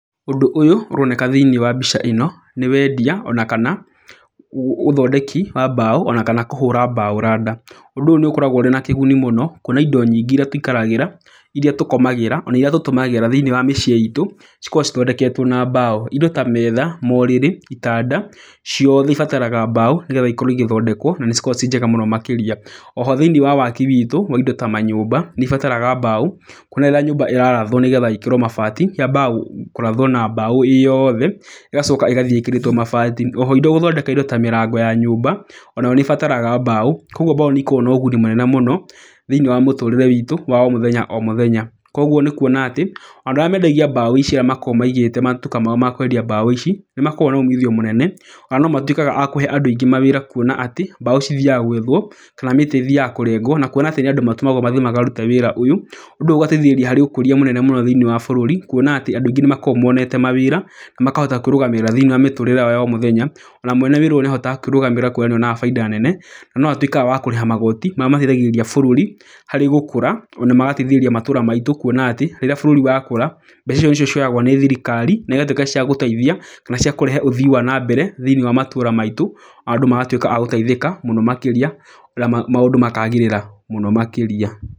Ũndũ ũyũ ũroneka thĩiniĩ wa mbica ĩno nĩ wendia ona kana ũthondeki wa mbaũ ona kana kũhũra mbaũ randa. Ũndũ ũyũ nĩ ũkoragwo wĩna kĩguni mũno kuona indo nyingĩ irĩa tũikaragĩra irĩa tũkomagĩra ona irĩa tũtũmagĩra thĩiniĩ wa mĩciĩ itũ cikoragwo cithondeketwo na mbaũ. Indo ta metha, morĩrĩ, itanda, ciothe ibataraga mbaũ nĩgetha cikorwo igĩthondekwo na nĩ cikoragwo ci njega mũno makĩria. Oho thĩiniĩ wa waki witũ wa indo ta manyũmba nĩ ibataraga mbaũ. Kuona rĩrĩa nyũmba ĩrarathwo nĩgetha ĩkĩrwo mabati, yambaga kũrathwo na mbaũ ĩ yothe, ĩgacoa kĩgathiĩ ĩkĩrĩtwo mabati. Oho gũthondeka indo ta mĩrango ya nyũmba, onayo nĩ ibataraga mbaũ, koguo mbaũ nĩ ĩkoragwo na ũguni mũnene mũno thĩiniĩ wa mũtũrĩre witũ wa o mũthenya o mũthenya. Koguo nĩ kuona atĩ andũ arĩa mendagia mbaũ ici arĩa makoragwo maigĩte matuka mao ma kwendia mbaũ ici, nĩ makoragwo na umithio mũnene. Ona no matuĩkaga a kũhe andũ aingĩ mawĩra kuona atĩ, mbaũ cithiaga gwethwo kana mĩtĩ ĩthiaga kũrengwo, na kuona atĩ nĩ andũ matũmagwo mathiĩ makarute wĩra ũyũ. Ũndũ ũyũ ũgateithĩrĩria harĩ ũkũria mũnene mũno thĩiniĩ wa bũrũri. Kuona atĩ andũ aingĩ ni makoragwo monete mawĩra na makahota kwĩrũgamĩrĩra thĩiniĩ wa mĩtũũrĩre yao ya o mũthenya. Ona mwene wĩra ũyũ nĩ ahotaga kwĩrũgamĩrĩra kuona nĩ onaga baita nene, na no atuĩkaga wa kũrĩha magooti marĩa mateithagĩrĩria bũrũri harĩ gũkũra. Ona magateithĩrĩria matũũra maitũ kuona atĩ rĩrĩa bũrũri wakũra, mbeca ico nĩcio cioyagwo nĩ thirikari na igatuĩka cia gũteithia kana cia kũrehe ũthii wa na mbere thĩiniĩ wa matũra maitũ. Ona andũ magatuĩka agũteithĩka mũno makĩria na maũndũ makaagĩrĩra mũno makĩria.